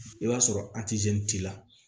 I b'a sɔrɔ t'i la